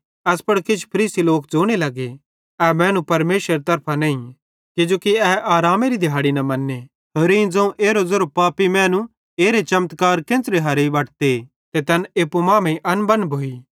एस पुड़ किछ फरीसी लोक ज़ोने लगे ए मैनू परमेशरेरे तरफां नईं किजोकि ए आरामेरी दिहाड़ी न मन्ने होरेईं ज़ोवं एरो ज़ेरो पापी मैनू एरे चमत्कार केन्च़रे हिरेई बटते ते तैन एप्पू मांमेइं अनबन भोइ